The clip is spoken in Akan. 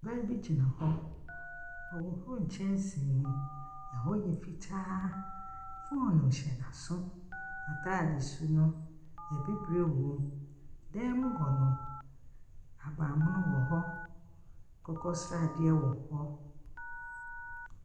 Ɔbaa bi gyina hɔ. Ɔhorow nkyɛnsee mu. Ɛhɔ yɛ fitaa. Fone hyɛ n'aso. N'ataade su no, ebibire wom. Dan mu hɔ no, ahabanmono wɔhɔ. Akokɔsradeɛ wɔhɔ.